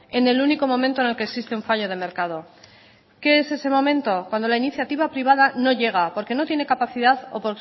en el único momento en el que existe un fallo de mercado qué es ese momento cuando la iniciativa privada no llega porque no tiene capacidad o